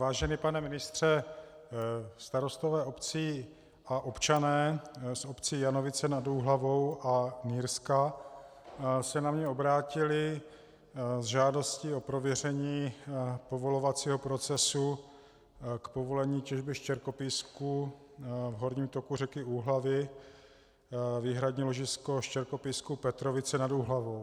Vážený pane ministře, starostové obcí a občané z obcí Janovice nad Úhlavou a Nýrska se na mě obrátili se žádostí o prověření povolovacího procesu k povolení těžby štěrkopísku v horním toku řeky Úhlavy, výhradní ložisko štěrkopísku Petrovice nad Úhlavou.